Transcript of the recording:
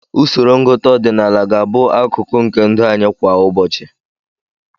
Usoro ngụta ọdịnala ga-abụ akụkụ nke ndụ anyị kwa ụbọchị.